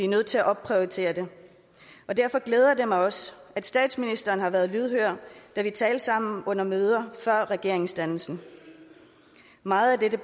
nødt til at opprioritere det derfor glæder det mig også at statsministeren har været lydhør da vi talte sammen under møder før regeringsdannelsen meget af dette